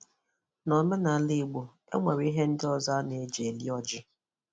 N’ọ̀mènàlà Ìgbò, e nwere ihe ndị ọzọ a na-èjì eri ọ̀jị.